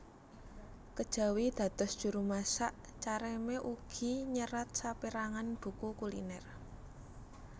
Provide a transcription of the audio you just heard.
Kejawi dados juru masak Carême ugi nyerat sapérangan buku kuliner